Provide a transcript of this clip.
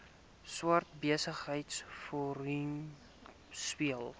swart besigheidsforum speel